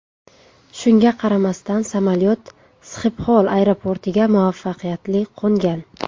Shunga qaramasdan, samolyot Sxipxol aeroportiga muvaffaqiyatli qo‘ngan.